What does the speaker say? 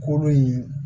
Kolo in